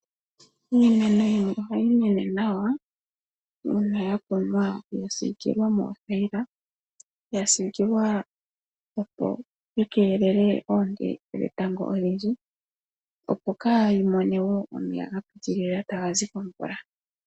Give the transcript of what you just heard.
Iimeno yimwe ohayi mene nawa uuna ya kunwa, etayi siikilwa noothayila, yasiikilwa opo yiikelele oonte dhetango odhindji, opo kayii mone wo omeya ga pitilila tagazi komvula.